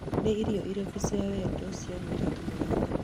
nĩ irio irĩkũ cia wendo cia mũirĩtu mũrata